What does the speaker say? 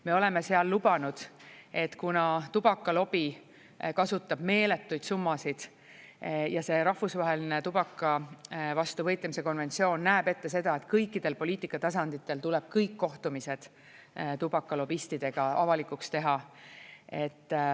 Me oleme lubanud, et kuna tubakalobi kasutab meeletuid summasid ja see rahvusvaheline tubaka vastu võitlemise konventsioon näeb ette seda, et kõikidel poliitika tasanditel tuleb kõik kohtumised tubakalobistidega avalikuks teha.